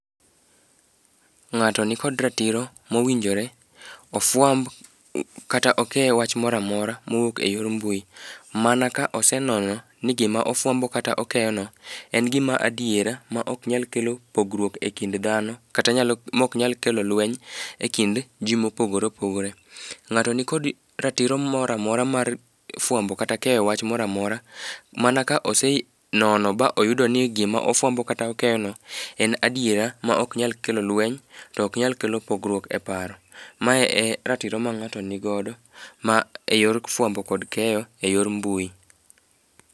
Ng'ato nikod ratiro mowinjore ofwamb kata oke wach mora mora mowuok e yor mbui, mana ka osenono ni gima ofwambo kata okeyono en gima adiera ma ok nyal kelo pogruok e kind dhano kata mok nyal kelo lweny e kind ji mopogore opogore. Ng'ato nikod ratiro mora mora mar fwambo kata keyo wach mora mora mana ka osenono ba oyudo ni gima ofwambo kata okeyono en adiera ma ok nyal kelo lweny, to ok nyal kelo pogruok e paro. Mae e ratiro ma ng'ato ni godo,e yor fwambo kod keyo e yor mbui.